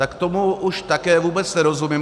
Tak tomu už také vůbec nerozumím.